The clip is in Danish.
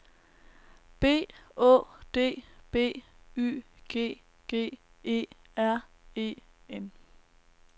B Å D B Y G G E R E N